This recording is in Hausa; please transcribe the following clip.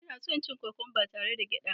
Ina son cin kokwamba tare da gyada